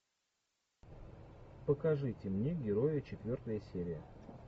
покажите мне героя четвертая серия